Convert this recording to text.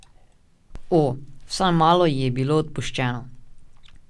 O, vsaj malo ji je bilo odpuščeno!